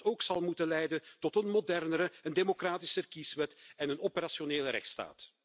Die zal bijvoorbeeld ook moeten leiden tot een modernere en democratischer kieswet en een operationele rechtsstaat.